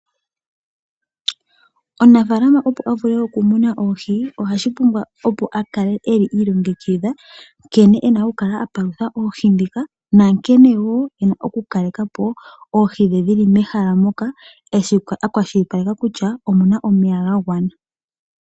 Omunafaalama opo avule okumuna oohi ohashi pumbwa akale eli ilongekidha nkene ena okukala apalutha oohi dhika na nkene ena woo ena okukaleka po oohi dhe dhili mehala moka akwashipaleka kutya omuna omeya ga gwana.